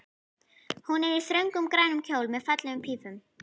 Hún er í þröngum, grænum kjól með fallegum pífum.